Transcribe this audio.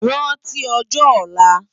Ránti òjò òlá